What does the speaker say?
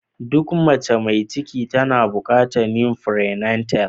Duk mace mai ciki tana bukatar yin "prenatal "